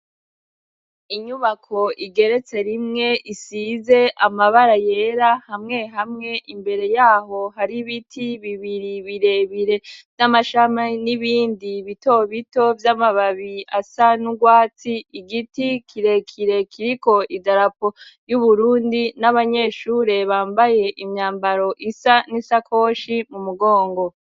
Inyubako igeretse rimwe isize amabara yera hamwe hamwe imbere yaho hari ibiti bibiri birebire vy'amashami n'ibindi bitobito vy'amababi asanugwatsi igiti kirekire kiriko idarapo y'Uburundi n'abanyeshure bambaye imyambaro isa n'isakoshi mu mugongo.